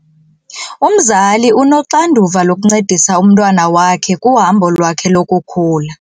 Umzali unoxanduva lokuncedisa umntwana wakhe kuhambo lwakhe lokukhula.